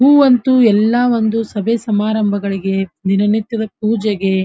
ಹೂವಂತೂ ಎಲ್ಲ ಒಂದು ಸಭೆ ಸಮಾರಂಭಗಳಿಗೆ ದಿನ ನಿತ್ಯದ ಪೂಜೆಗೆ --